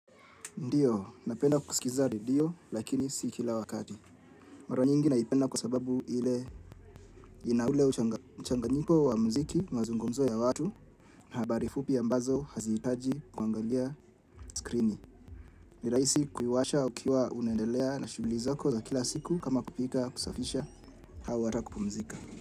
Ndiyo, napenda kuskiza redio, lakini si kila wakati. Mara nyingi naipenda kwa sababu ile ina ule uchanganyiko wa muziki mazungumzo ya watu na habari fupi ambazo haziitaji kwangalia skrini. Nirahisi kuiwasha ukiwa unendelea na shughuli zako za kila siku kama kupika kusafisha au ata kupumzika.